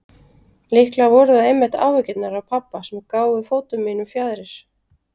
Líklega voru það einmitt áhyggjurnar af pabba sem gáfu fótum mínum fjaðrir.